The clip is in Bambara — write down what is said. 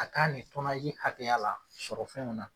A ka nin hakɛya la sɔrɔ fɛnw na.